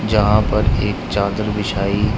जहां पर एक चादर बिछाई--